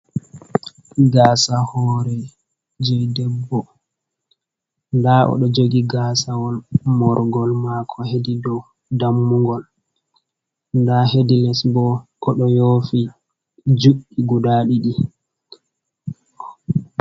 Gaasa hoore jey debbo, ndaa o ɗo jogi gaasawol moorgol maako hedi dow dammugol, ndaa hedi les bo, o ɗo yoofi juuɗɗi guda ɗiɗi.